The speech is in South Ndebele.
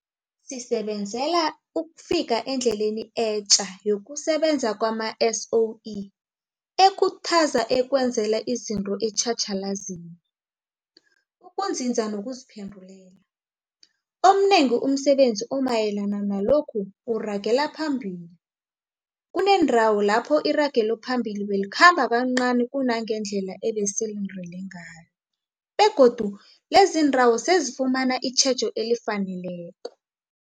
Sisebenzela ukufika endleleni etja yokusebenza kwama-SOE ekhuthaza ukwenzela izinto etjhatjhalazini, ukunzinza nokuziphendulela. Omnengi umsebenzi omayelana nalokhu uragela phambili. Kuneendawo lapho iragelophambili belikhamba kancani kunangendlela ebesilindele ngayo begodu leziindawo sezifumana itjhejo elifaneleko.